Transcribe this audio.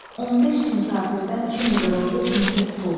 15 min kafirdən kimi qırıldı, kimisi tutuldu.